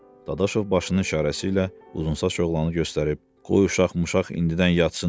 Dadaşov başının işarəsi ilə uzunsaç oğlanı göstərib, qoy uşaq-muşaq indidən yatsın dedi.